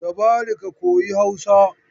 Tabari ka koyi Hausa!